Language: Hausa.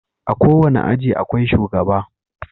A kowane aji akwai shugaba.